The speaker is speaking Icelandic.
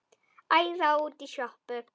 Æða út í sjoppu!